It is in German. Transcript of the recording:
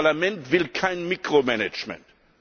Das Parlament will kein Mikromanagement.